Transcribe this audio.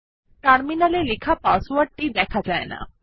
terminal এ লেখা পাসওয়ার্ডটি দেখা যায় না